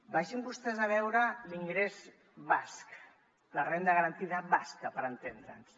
vagin vostès a veure l’ingrés basc la renda garantida basca per entendre’ns